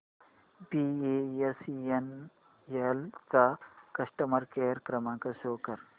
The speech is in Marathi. बीएसएनएल चा कस्टमर केअर क्रमांक शो कर